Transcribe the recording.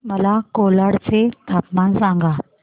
मला कोलाड चे तापमान सांगा